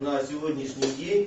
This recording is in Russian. на сегодняшний день